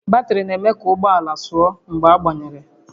Batrị na-eme ụgbọ ala ka ọ mallite sụọ mgbe agbanyere